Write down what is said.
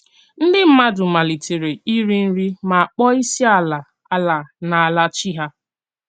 Ndí mmádụ̀ màlítèrè ìrì nrí mà kpọ̀ọ̀ ísí àlà àlà n’álà chí hà."